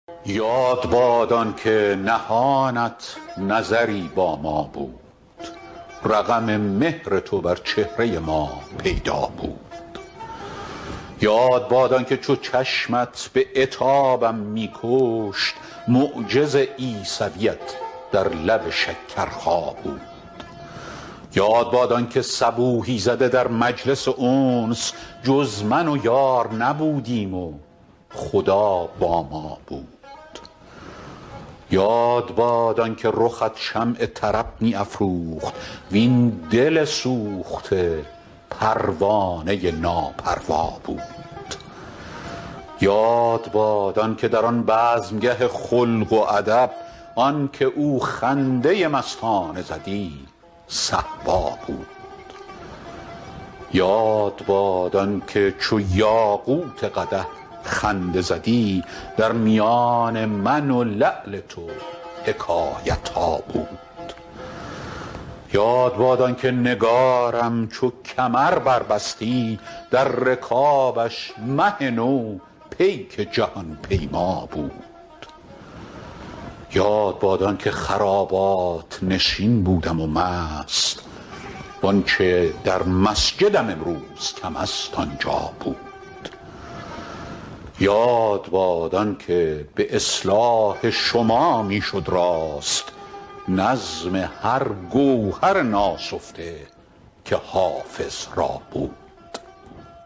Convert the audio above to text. یاد باد آن که نهانت نظری با ما بود رقم مهر تو بر چهره ما پیدا بود یاد باد آن که چو چشمت به عتابم می کشت معجز عیسویت در لب شکرخا بود یاد باد آن که صبوحی زده در مجلس انس جز من و یار نبودیم و خدا با ما بود یاد باد آن که رخت شمع طرب می افروخت وین دل سوخته پروانه ناپروا بود یاد باد آن که در آن بزمگه خلق و ادب آن که او خنده مستانه زدی صهبا بود یاد باد آن که چو یاقوت قدح خنده زدی در میان من و لعل تو حکایت ها بود یاد باد آن که نگارم چو کمر بربستی در رکابش مه نو پیک جهان پیما بود یاد باد آن که خرابات نشین بودم و مست وآنچه در مسجدم امروز کم است آنجا بود یاد باد آن که به اصلاح شما می شد راست نظم هر گوهر ناسفته که حافظ را بود